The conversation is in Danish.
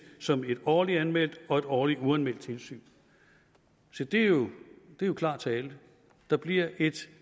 som et årligt anmeldt og et årligt uanmeldt tilsyn se det er jo klar tale der bliver ét